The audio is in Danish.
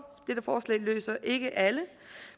dette forslag løser ikke alle